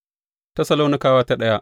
daya Tessalonikawa Sura daya